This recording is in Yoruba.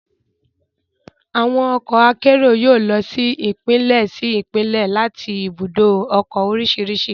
Àwọn ọkọ akérò yóò lọ sí Ìpínlẹ̀ sí Ìpínlẹ̀ láti ibùdó ọkọ̀ oríṣiríṣi